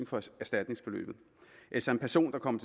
for erstatningsbeløbet hvis en person der kommer